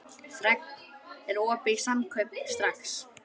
Fregn, er opið í Samkaup Strax?